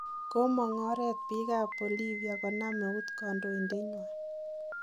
komang oret biik ab Bolivia konam eut kandoindet nywan